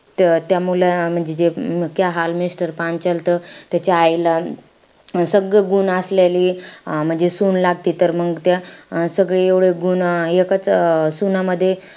त त्या मुलं म्हणजे जे क्या हाल मिस्टर पांचाल त त्याच्या आईला सगळं गुण असलेली अं म्हणजे सून लागती. तर मंग त्या सगळी एवढं गुण एकंच सुनामध्ये,